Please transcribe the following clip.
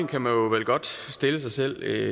kan man vel godt stille sig selv